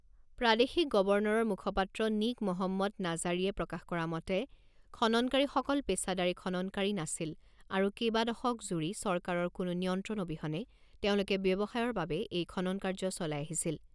প্ৰাদেশিক গৱৰ্ণৰৰ মুখপাত্ৰ নীক মহম্মদ নাজাৰীয়ে প্ৰকাশ কৰা মতে, খননকাৰীসকল পেচাদাৰী খননকাৰী নাছিল আৰু কেবাদশক জুৰি চৰকাৰৰ কোনো নিয়ন্ত্ৰণ অবিহনে তেওঁলোকে ব্যৱসায়ৰ বাবে এই খনন কাৰ্য চলাই আহিছিল।